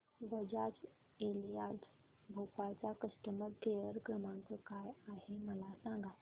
Bajaj Allianz Bhopal चा customer care क्रमांक काय आहे मला सांगा